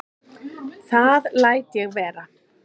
Það læt ég vera